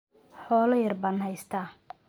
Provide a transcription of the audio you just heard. Xoolo yar baan haystaa.